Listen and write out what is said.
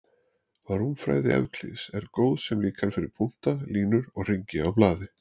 Rúmfræði Evklíðs er góð sem líkan fyrir punkta, línur og hringi á blaði.